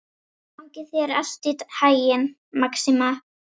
Gangi þér allt í haginn, Maxima.